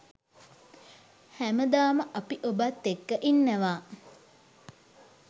හැමදාම අපි ඔබත් එක්ක ඉන්නවා.